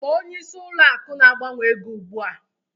Kpọọ onyeisi ụlọ akụ na-agbanwe ego ugbua!